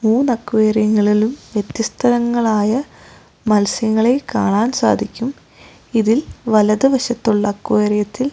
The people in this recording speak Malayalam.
മൂന്ന് അക്വാറിയങ്ങളിലും വ്യത്യസ്തങ്ങളായ മത്സ്യങ്ങളെ കാണാൻ സാധിക്കും ഇതിൽ വലതു വശത്തുള്ള അക്വാറിയത്തിൽ --